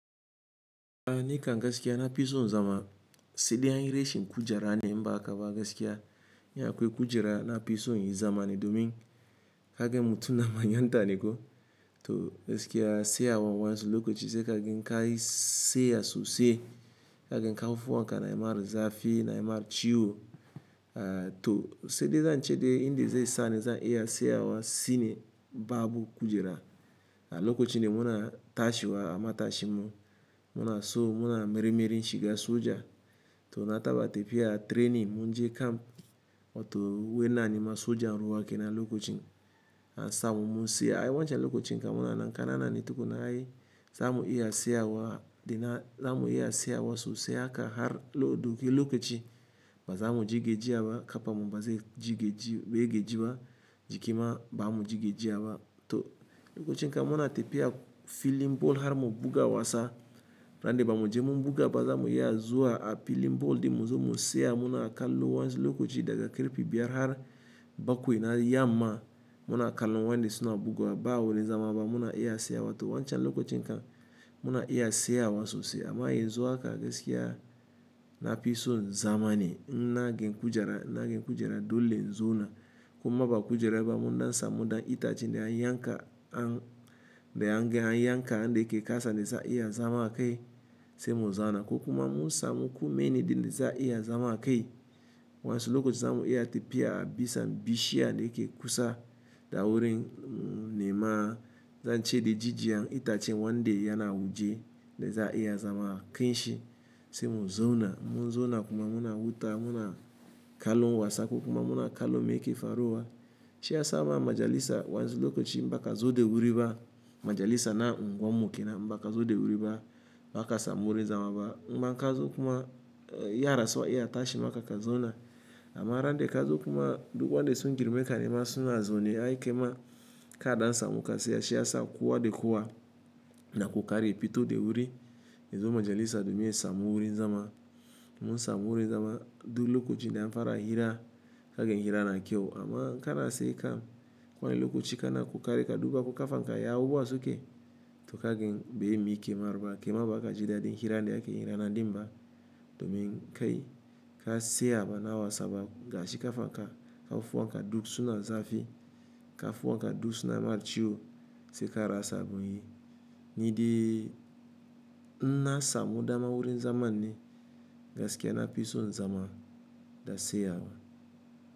A ni ka gasikya na pison zama, se de anye reshin kujara ne mba ka ba gasikya nya kwe kujara na pison yi zamane domin. Ka ge mutu na manyan taneko to gasikya se awa wadansu lokachi se ka gen kayi seya sose. Ka gen kau fuwanka na emar zafi, na emar chiwo to se de zanche de indi ze sani za iya se yawa sine babu kujara. A loka chi ne muna tashewa a ma tashinmu, muna so muna mermerin shiga soja. To na taba tepia training munje camp wato wai ina nema sojan ruwa kenan lokachin. A samu mu tsaya a wanchan lokachin ka muna nan kanana ni tukunna ai. Zamu iya se tseyawa dena zamu iya se awa sose aka har ya dauki lokachi. Ba zamu ji gejiya kafarmu ba ze ji geji be gejiwa jiki ma ba mu ji geji awa. To lokachin kam muna tefiya filin ball har mu buga wasa. Rande ba mu je mu buga ba zamu iya zuwa a filin ball din mu zo mu tseya muna kallo wanzu lokachi daga karfe biyar har bakwai na yamma. Muna kallon wande suna buga bugawa ba bani wani wajen zama muna iya tseyawa. To wanchan lokachin kam muna iya tseyawa sosai. Amma yanzu ha ka gasikya na pison zamane inna ge kujara inna gen kujara dole inzona. Kuma ba kujara ba mu ndan sa mu dan itachi de an yanka an de an gen an yanka de ke kasa de za iya zama akai se mu zona. Ko kuma mu sa mu ko meni din de za iya zama akai. Wanzu lokola chi zamu iya tafiya bisa bishiya de ke kusa dawurin ne ma zan chede ji jiyan itachi wande yana wuje de za iya zama akinshi se mu zona. Mu zona kuma muna wuta muna akalo wasa ko kuma muna akalo me ke faruwa. Shi ya sama majalisa wanzu loko chi mba ka zo de wuri ba. Majalisa na a unguwan mu kena in ba ka zo de wuri ba ba kasa muri zamawa. Imma ka zo kuma ya rasl su iya tashi ma ka ka zona. Ama rande ka zo kuma duka wande sun girme kane ma suna zona ai ke ma ka dan sa mu ka se. Shi ya sa kowa de kowa na kokari ya fito da wuri. Yazo majalisa domin ya samu wuri zama. Mun sami wuri zama du lokochin de an fara hira ka gen hira na kyau amma ka tseya kam kowanne lokachi ka na ko kari ka duba ko ka fanka ya abubuwa suke. To ka gen be mi ke mar ba ke ma ba ka jida de hira de ake hira na dimba domin kai ka tseya ba na wasa ba gashi ka fanka ka fuwanka duk suna zafi ka fuwanka duk suna ma ciwo se ka rasa abun yi. Nidai inna sa mu dan ma wurin zamanne gasikya na fison zama da tseyawa.